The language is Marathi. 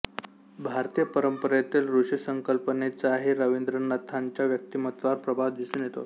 भारतीय परंपरेतील ऋषी संकल्पनेचाही रवींद्रनाथांच्या व्यक्तिमत्त्वावर प्रभाव दिसून येतो